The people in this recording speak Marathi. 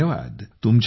खूप धन्यवाद